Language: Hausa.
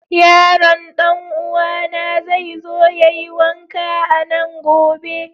Yaron dan'uwana zai zo ya yi wanka a nan gobe.